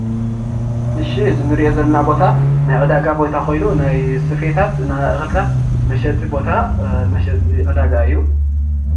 እዚ እንሪኦ ዘለና ቦታ ናይ ዕዳጋ ቦታ ኮይኑ ናይ ስፌታት እክልታት መሸጢ ቦታ መሸጢ ዕዳጋ እዩ፡፡